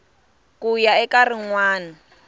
ku ya eka rin wana